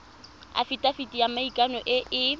afitafiti ya maikano e e